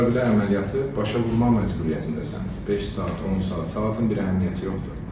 Bu səbəblə əməliyyatı başa vurmaq məcburiyyətindəsən, beş saat, 10 saat, saatın bir əhəmiyyəti yoxdur.